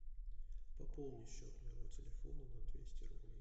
пополни счет моего телефона на двести рублей